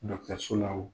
so la o